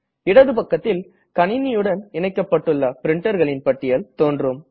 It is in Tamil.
இடது பக்கத்தில் கணினியுடன் இணைக்கப்பட்டுள்ள printerகளின் பட்டியல் தோன்றும்